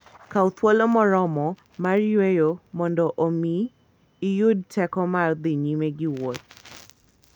Kaw thuolo moromo mar yueyo mondo omi iyud teko mar dhi nyime gi wuoth.